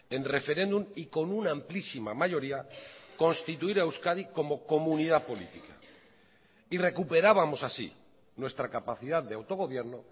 en referéndum y con una amplísima mayoría constituir a euskadi como comunidad política y recuperábamos así nuestra capacidad de autogobierno